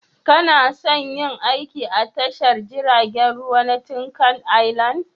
Kana son yin aiki a tashar jiragen ruwa ta Tinkan Island?